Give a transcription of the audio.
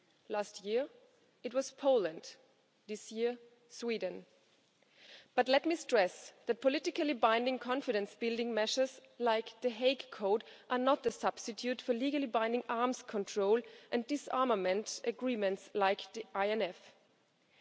Last year it was Poland, this year Sweden. But let me stress that politically binding confidence building measures like The Hague Code are not a substitute for legally binding arms control and disarmament agreements like the INF Treaty.